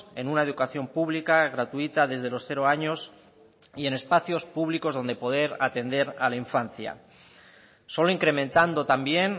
en una educación pública gratuita desde los cero años y en espacios públicos donde poder atender a la infancia solo incrementando también